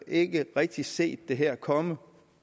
ikke rigtigt set det her komme